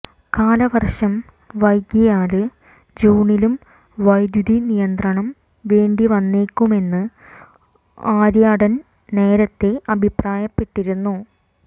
കാലവര്ഷം വൈകിയാല് ജൂണിലും വൈദ്യുതി നിയന്ത്രണം വേണ്ടിവന്നേക്കുമെന്ന് ആര്യാടന് നേരത്തെ അഭിപ്രായപ്പെട്ടിരുന്നു